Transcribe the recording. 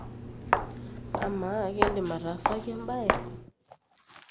amaa ekindim ataasaki embaye